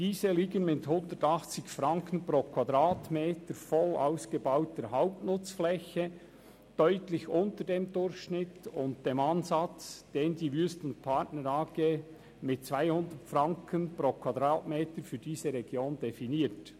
Diese liegen mit 180 Franken pro Quadratmeter voll ausgebauter Hauptnutzfläche deutlich unter dem Durchschnitt und dem Ansatz, den die Wüest & Partner AG mit 210 Franken pro Quadratmeter für diese Region definiert.